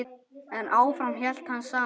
En áfram hélt hann samt.